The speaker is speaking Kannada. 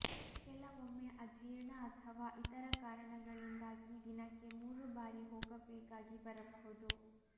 ಕೆಲವೊಮ್ಮೆ ಅಜೀರ್ಣ ಅಥವಾ ಇತರ ಕಾರಣಗಳಿಂದಾಗಿ ದಿನಕ್ಕೆ ಮೂರು ಬಾರಿ ಹೋಗಬೇಕಾಗಿ ಬರಬಹುದು